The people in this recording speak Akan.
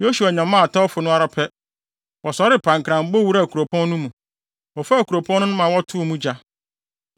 Yosua nyamaa atɛwfo no ara pɛ, wɔsɔree pankran bɔ wuraa kuropɔn no mu. Wɔfaa kuropɔn no na wɔtoo mu gya.